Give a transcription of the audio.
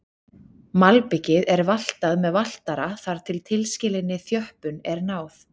Malbikið er valtað með valtara þar til tilskilinni þjöppun er náð.